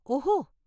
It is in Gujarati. ઓહો..!